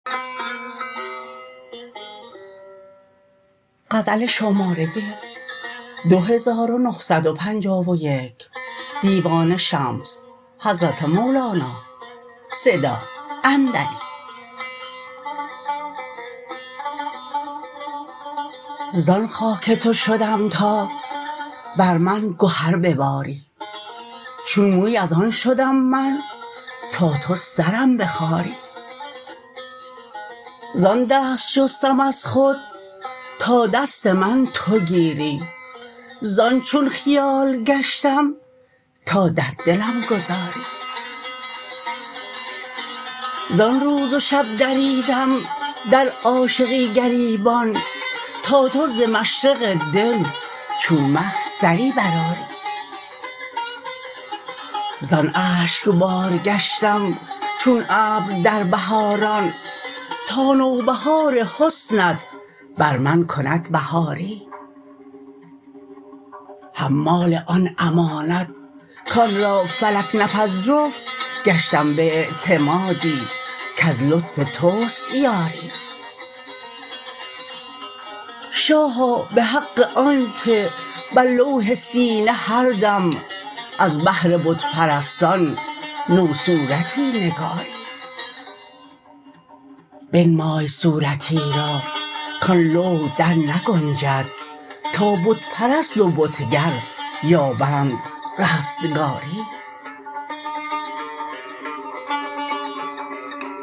زان خاک تو شدم تا بر من گهر بباری چون موی از آن شدم من تا تو سرم بخاری زان دست شستم از خود تا دست من تو گیری زان چون خیال گشتم تا در دلم گذاری زان روز و شب دریدم در عاشقی گریبان تا تو ز مشرق دل چون مه سری برآری زان اشکبار گشتم چون ابر در بهاران تا نوبهار حسنت بر من کند بهاری حمال آن امانت کان را فلکت نپذرفت گشتم به اعتمادی کز لطف توست یاری شاها به حق آنک بر لوح سینه هر دم از بهر بت پرستان نوصورتی نگاری بنمای صورتی را کان لوح درنگنجد تا بت پرست و بتگر یابند رستگاری